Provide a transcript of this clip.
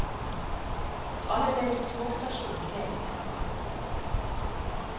Allerede på togstasjonen ser vi det.